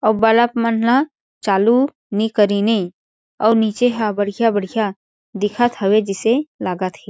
अउ बल्ब मन ला चालू नी करीन हे और नीचे ह बढ़िया-बढ़िया दिखत हवे जिसे लागत हे।